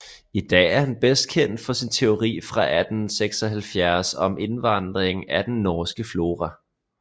I dag er han bedst kendt for sin teori fra 1876 om indvandring af den norske flora